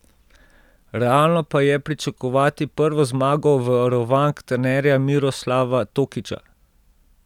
Realno pa je pričakovati prvo zmago varovank trenerja Miroslava Tokića.